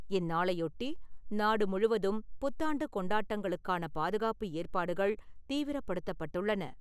இந்நாளையொட்டி, நாடு முழுவதும் புத்தாண்டு கொண்டாட்டங்களுக்கான பாதுகாப்பு ஏற்பாடுகள் தீவிரப்படுத்தப்பட்டுள்ளன.